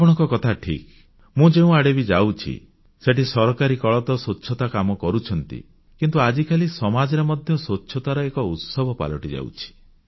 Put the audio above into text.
ଆପଣଙ୍କ କଥା ଠିକ ମୁଁ ଯେଉଁଆଡ଼େ ବି ଯାଉଛି ସେଠି ସରକାରୀ କଳ ତ ସ୍ୱଚ୍ଛତା କାମ କରୁଛନ୍ତି କିନ୍ତୁ ଆଜିକାଲି ସମାଜରେ ମଧ୍ୟ ସ୍ୱଚ୍ଛତାର ଏକ ଉତ୍ସବ ପାଲଟିଯାଉଛି